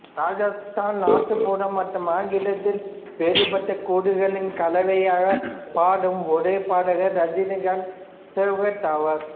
ராஜஸ்தானி நாட்டுப்புறம் மற்றும் ஆங்கிலத்தில் வேறுபட்ட கூறுகளின் கலவையாக பாடும் ஒரே பாடகர் ரஜினிகாந்தா செகாவத் ஆவார்